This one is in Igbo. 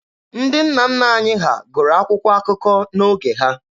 Ndị nna nna anyị ha gụrụ akwụkwọ akụkọ n'oge ha.